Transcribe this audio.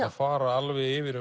að fara alveg yfir